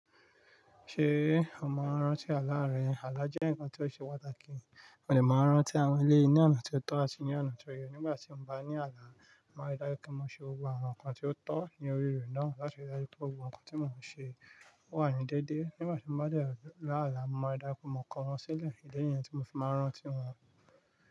Ṣé o máa ń rántí àlá rẹ? Àlá jẹ́ nǹkan tí ó ṣe pàtàkì. Mo de máa rántí àwọn eleyii ní ọ̀nà tí ó tọ́ àti ní ọ̀nà tí ó yẹ. Nígbà tí mo bá ní àlá, màá rí dájú pé mo ṣe gbogbo àwọn nǹkan tí ó tọ́ ní orí ee náà láti rí dájú pé gbogbo awon nkan tí mò ń ṣe. Ó wà ní déédéé. Nígbà tí mo bá dẹ̀ la àlá, mà ri daju pé mo kó wọn sílẹ̀. Idi ni yen tí mo fi máa ń rántí wọn.